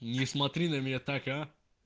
не смотри на меня так а